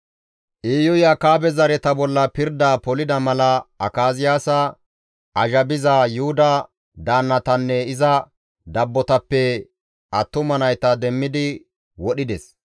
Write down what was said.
Iyuy Akaabe zareta bolla pirdaa polida mala Akaziyaasa azhabiza Yuhuda daannatanne iza dabbotappe attuma nayta demmidi wodhides.